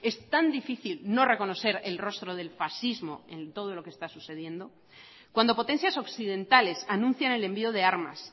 es tan difícil no reconocer el rostro del fascismo en todo lo que está sucediendo cuando potencias occidentales anuncian el envío de armas